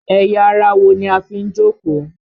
Ẹ̀yà ara wo ni a fi ń jókòó?